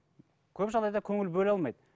көп жағдайда көңіл бөле алмайды